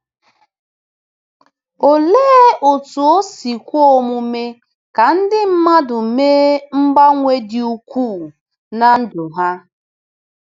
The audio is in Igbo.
Olee otú o si kwe omume ka ndị mmadụ mee mgbanwe dị ukwuu na ndụ ha?